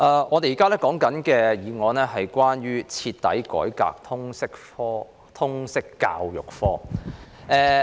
我們現在討論的議案是"徹底改革通識教育科"。